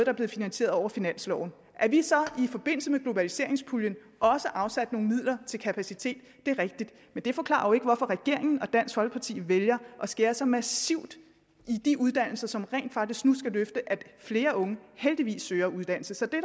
er blevet finansieret over finansloven at vi så i forbindelse med globaliseringspuljen også afsatte nogle midler til kapacitet er rigtigt men det forklarer jo ikke hvorfor regeringen og dansk folkeparti vælger at skære så massivt i de uddannelser som rent faktisk nu skal løfte at flere unge heldigvis søger uddannelse så det